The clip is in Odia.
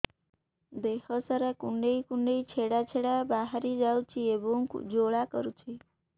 ଦେହ ସାରା କୁଣ୍ଡେଇ କୁଣ୍ଡେଇ ଛେଡ଼ା ଛେଡ଼ା ବାହାରି ଯାଉଛି ଏବଂ ଜ୍ୱାଳା କରୁଛି